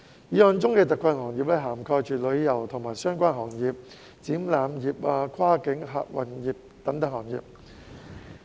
議案中的特困行業涵蓋旅遊及相關行業、展覽業、跨境客運業等行業。